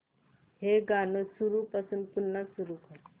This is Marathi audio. हे गाणं सुरूपासून पुन्हा सुरू कर